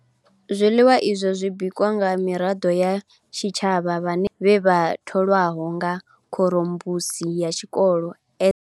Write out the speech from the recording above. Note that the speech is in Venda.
Zwiḽiwa izwo zwi bikwa nga miraḓo ya tshitshavha vhane vha sa shume vhe vha tholwaho nga khorombusi ya tshikolo.